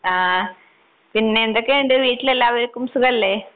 ആഹ് പിന്നെന്തൊക്കെയുണ്ട് വീട്ടിലെല്ലാവർക്കും സുഖല്ലേ?